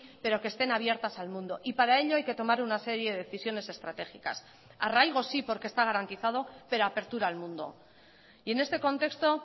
pero que estén abiertas al mundo y para ello hay que tomar una serie de decisiones estratégicas arraigo sí porque está garantizado pero apertura al mundo y en este contexto